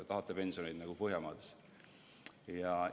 Tahate pensione nagu Põhjamaades?